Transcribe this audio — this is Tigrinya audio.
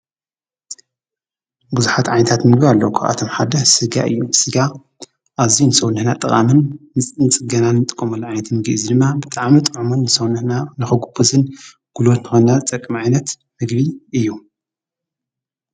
ብዙኃት ዓይታት ምግ ኣለኳኣቶም ሓድሕ ሥጋ እዩ ሥጋ ኣዙይ ንሰውንሕና ጥቓምን ምንጽገናን ጥመሉ ኣይት ምጊእ ዝድማ ብጥዓመ ጥመን ንሠውንሕና ነኽጕቡዝን ጕሉወት ንኾናት ጠቕ መዒነት ምግቢ እዩ።